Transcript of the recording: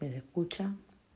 куча